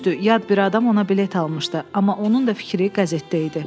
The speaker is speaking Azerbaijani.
Düzdür, yad bir adam ona bilet almışdı, amma onun da fikri qəzetdə idi.